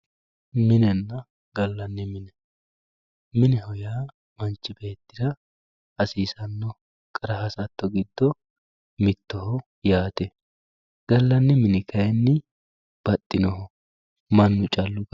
Minenna gaalanni minne mineho yaa manchchi beettira hasisanoho qarra hasato giddo mittoho yaatte galanni minni kayinni baxinoho mannu callu